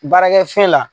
Baarakɛ fɛn la